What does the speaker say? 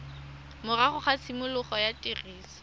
morago ga tshimologo ya tiriso